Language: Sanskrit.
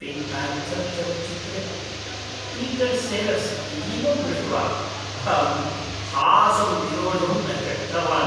पिङ्क् प्यान्थर् चलच्चित्रे पीटर् सेलर्स् इतीमं दृष्ट्वा अहं हासं निरोढुं न शक्तवान्।